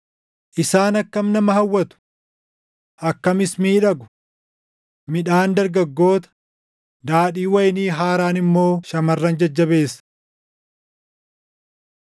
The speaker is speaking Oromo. Isaan akkam nama hawwatu! Akkamis miidhagu! Midhaan dargaggoota, daadhiin wayinii haaraan immoo shamarran jajjabeessa.